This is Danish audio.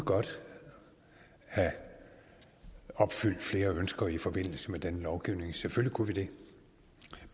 have opfyldt flere ønsker i forbindelse med denne lovgivning selvfølgelig kunne vi det